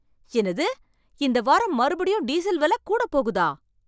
என்னது, இந்த வாரம் மறுபடியும் டீசல் வெல கூடப் போகுதா?